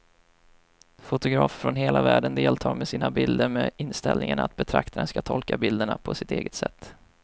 Fotografer från hela världen deltar med sina bilder med inställningen att betraktaren ska tolka bilderna på sitt eget sätt.